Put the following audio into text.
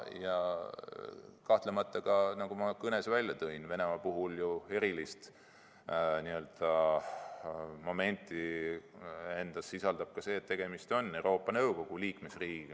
Ja kahtlemata, nagu ma kõnes välja tõin, on Venemaa puhul ju eriline moment ka see, et tegemist on Euroopa Nõukogu liikmesriigiga.